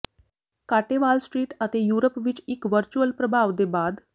ਘਾਟੇ Wall Street ਅਤੇ Europe ਵਿੱਚ ਇੱਕ ਵਰਚੁਅਲ ਪ੍ਰਭਾਵ ਦੇ ਬਾਅਦ